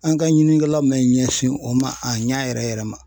An ka ɲinikɛlaw man ɲɛsin o ma a ɲɛ yɛrɛ yɛrɛ ma.